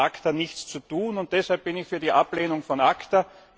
Das hat mit ACTA nichts zu tun, und deshalb bin ich für die Ablehnung von ACTA.